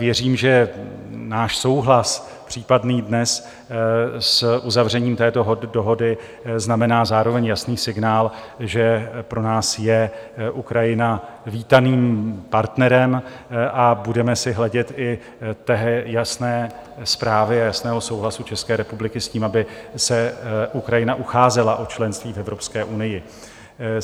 Věřím, že náš případný souhlas dnes s uzavřením této dohody znamená zároveň jasný signál, že pro nás je Ukrajina vítaným partnerem, a budeme si hledět i té jasné zprávy a jasného souhlasu České republiky s tím, aby se Ukrajina ucházela o členství v Evropské unii.